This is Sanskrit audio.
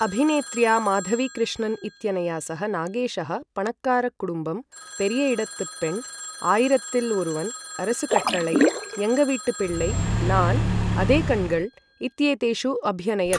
अभिनेत्र्या माधवी कृष्णन् इत्यनया सह नागेशः पणक्कार कुडुम्बम्, पेरीय एडत्तु पेण्, आयिरत्तिल् ओरुवन्, अरस कट्टळै, एङ्ग वीट्टू पिळ्ळै, नान्, अदे कण्गळ् इत्येतेषु अभ्यनयत्।